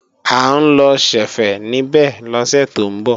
À ń lọ ṣẹ̀fẹ̀ níbẹ̀ lọ́sẹ̀ tó ń bọ̀